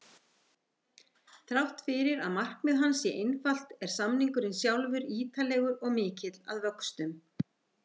Þrátt fyrir að markmið hans sé einfalt er samningurinn sjálfur ítarlegur og mikill að vöxtum.